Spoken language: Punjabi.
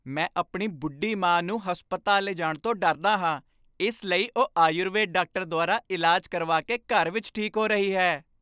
ਮੈਂ ਆਪਣੀ ਬੁੱਢੀ ਮਾਂ ਨੂੰ ਹਸਪਤਾਲ ਲਿਜਾਣ ਤੋਂ ਡਰਦਾ ਹਾਂ, ਇਸ ਲਈ ਉਹ ਆਯੁਰਵੇਦ ਡਾਕਟਰ ਦੁਆਰਾ ਇਲਾਜ ਕਰਵਾ ਕੇ ਘਰ ਵਿੱਚ ਠੀਕ ਹੋ ਰਹੀ ਹੈ।